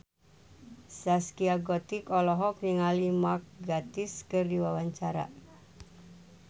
Zaskia Gotik olohok ningali Mark Gatiss keur diwawancara